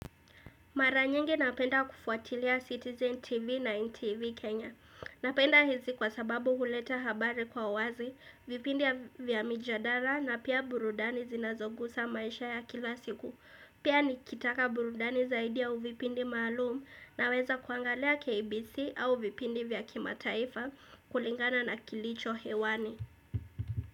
Mara nyingi napenda kufuatilia Citizen TV na NTV Kenya. Napenda hizi kwa sababu huleta habari kwa wazi, vipindi vya mijadara na pia burudani zinazo gusa maisha ya kila siku. Pia nikitaka burudani zaidi au vipindi maalum naweza kuangalia KBC au vipindi vya kimataifa kulingana na kilicho hewani.